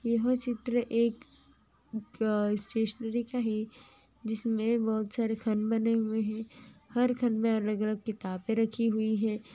यह चित्र एक अ--स्टैशनेरी का है जिसमें बहोत सारे खाने बने हुए हैं हर खाने में अलग अलग किताबें राखी हुई हैं